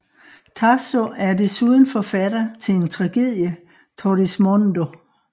Tasso er desuden forfatter til en tragedie Torrismondo